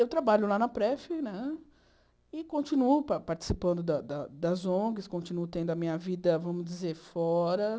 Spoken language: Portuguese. Eu trabalho lá na Pref né e continuo participando da da das ongs, continuo tendo a minha vida, vamos dizer, fora.